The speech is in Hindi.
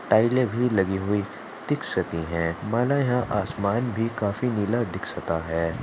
टाइले लगी हुई दीक्षती है मला यहां आसमान भी काफी नीला दीक्षता है।